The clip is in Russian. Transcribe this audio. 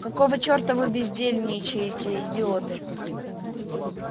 какого черта вы бездельничаете идиоты